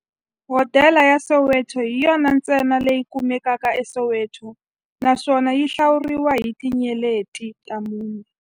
Hodela ya Soweto hi yona ntsena leyi kumekaka eSoweto, naswona yi hlawuriwa hi tinyeleti ta mune.